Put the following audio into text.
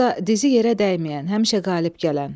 Burda dizi yerə dəyməyən, həmişə qalib gələn.